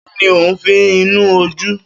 Kín ni òún fi sí inú ojú?